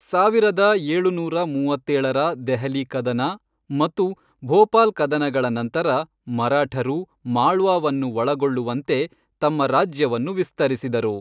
ಸಾವಿರದ ಏಳುನೂರ ಮೂವತ್ತೇಳರ ದೆಹಲಿ ಕದನ ಮತ್ತು ಭೋಪಾಲ್ ಕದನಗಳ ನಂತರ, ಮರಾಠರು, ಮಾಳ್ವಾವನ್ನು ಒಳಗೊಳ್ಳುವಂತೆ ತಮ್ಮ ರಾಜ್ಯವನ್ನು ವಿಸ್ತರಿಸಿದರು.